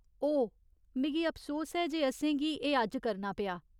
ओह्, मिगी अफसोस ऐ जे असेंगी एह् अज्ज करना पेआ।